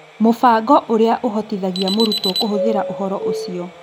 Mũbango ũrĩa ũhotithagia mũrutwo kũhũthĩra ũhoro ũcio.